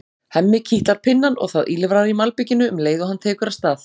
Hemmi kitlar pinnann og það ýlfrar í malbikinu um leið og hann tekur af stað.